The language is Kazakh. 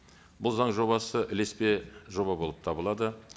бұл заң жобасы ілеспе жоба болып табылады